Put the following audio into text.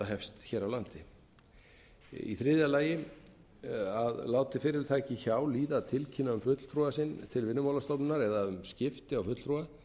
hefst hér á landi þriðja að láti fyrirtæki hjá líða að tilkynna um fulltrúa sinn til vinnumálastofnunar eða um skipti á fulltrúa sé